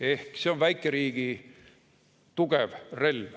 Ehk see on väikeriigi tugev relv.